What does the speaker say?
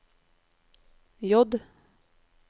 J